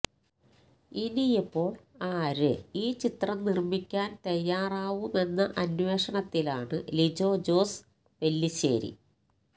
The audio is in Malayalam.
ഇനിയിപ്പോള് ആര് ഈ ചിത്രം നിര്മ്മിക്കാന് തയ്യാറാവുമെന്ന അന്വേഷണത്തിലാണ് ലിജോ ജോസ് പെല്ലിശേരി